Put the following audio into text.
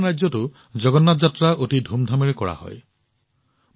আন ৰাজ্যতো জগন্নাথ যাত্ৰা অতি ধুমধামেৰে উলিওৱা হয়